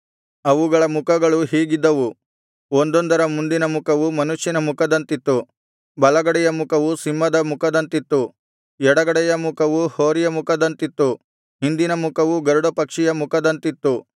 ಅವುಗಳ ಮುಖಗಳು ಹೀಗಿದ್ದವು ಒಂದೊಂದರ ಮುಂದಿನ ಮುಖವು ಮನುಷ್ಯನ ಮುಖದಂತಿತ್ತು ಬಲಗಡೆಯ ಮುಖವು ಸಿಂಹದ ಮುಖದಂತಿತ್ತು ಎಡಗಡೆಯ ಮುಖವು ಹೋರಿಯ ಮುಖದಂತಿತ್ತು ಹಿಂದಿನ ಮುಖವು ಗರುಡಪಕ್ಷಿಯ ಮುಖದಂತಿತ್ತು